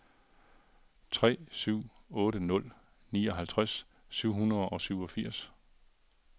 tre syv otte nul nioghalvtreds syv hundrede og syvogfirs